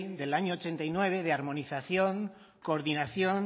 del año mil novecientos ochenta y nueve de armonización coordinación